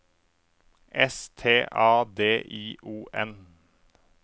S T A D I O N